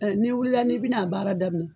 N'i wilila n'i bin'a baara daminɛ